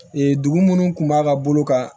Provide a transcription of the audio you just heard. Ee dugu minnu kun b'a ka bolo kan